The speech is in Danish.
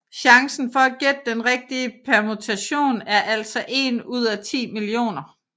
Chancen for at gætte den rigtige permutation er altså 1 ud af 10 millioner